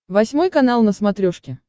восьмой канал на смотрешке